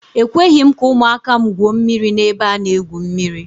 Ekweghị m ka ụmụaka m gwuo mmiri n'ebe a na-egwu mmiri.